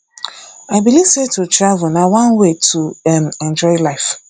i believe sey to travel na one way to um enjoy life